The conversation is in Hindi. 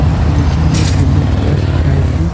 यहां पे लिखा भी है वैल्यू प्लस वराइटी ।